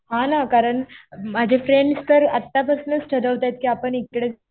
हा ना. कारण माझे फ्रेंड्स तर आता पासनंच ठरवतायेत कि आपण इकडे